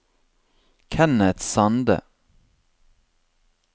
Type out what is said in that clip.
Kenneth Sande